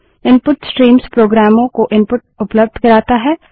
input streams प्रोग्रामों को input उपलब्ध करता है